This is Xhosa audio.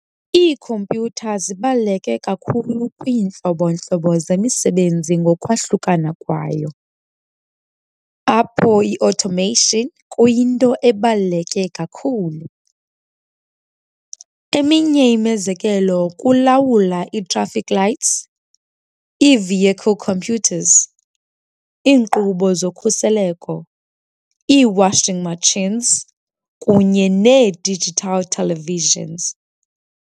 Iikhompyutha zibaluleke kakhulu kwiintlobo-ntlobo zemisebenzi ngokwahlukana kwayo, apho i-automation kuyinto ebaluleke kakhulu. Eminye imizekelo kukulawula ii-traffic lights, ii-vehicle computers, iinkqubo zokhuseleko, ii-washing machines kunye nee-digital televisions.